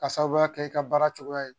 Ka sababuya kɛ i ka baara cogoya ye